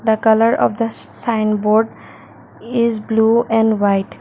the colour of the sign board is blue and white.